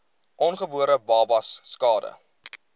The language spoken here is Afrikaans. ongebore babas skade